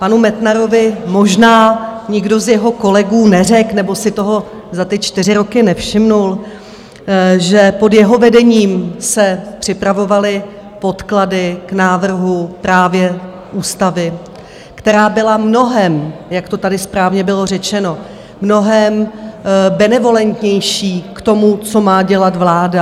Panu Metnarovi možná nikdo z jeho kolegů neřekl, nebo si toho za ty čtyři roky nevšiml, že pod jeho vedením se připravovaly podklady k návrhu právě ústavy, která byla mnohem, jak to tady správně bylo řečeno, mnohem benevolentnější k tomu, co má dělat vláda.